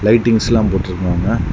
Lightings எல்லா போட்டுருக்காங்க.